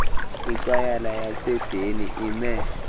ikwayala yaseedeni ime